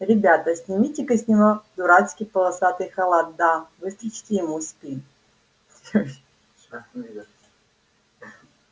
ребята сымите-ка с него дурацкий полосатый халат да выстрочите ему спину